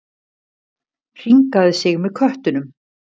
Hringaði sig með köttunum.